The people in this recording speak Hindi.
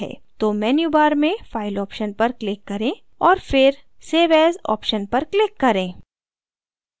तो menu bar में file option पर click करें और फिर save as option पर click करें